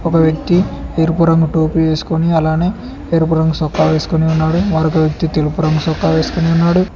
ఒక వ్యక్తి ఎరుపు రంగు టోపీ వేసుకొని అలానే ఎరుపు రంగు చొక్కా వేసుకొని ఉన్నాడు మరొక్క వ్యక్తి తెలుపు రంగు చొక్కా వేసుకొని ఉన్నాడు.